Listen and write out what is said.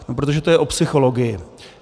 Protože to je o psychologii.